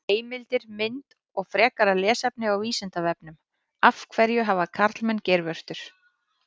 Heimildir, mynd og frekara lesefni á Vísindavefnum: Af hverju hafa karlmenn geirvörtur?